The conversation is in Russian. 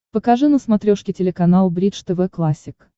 покажи на смотрешке телеканал бридж тв классик